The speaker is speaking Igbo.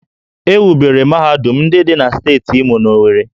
E wubere mahadum ndị dị na steeti Imo n'Owerri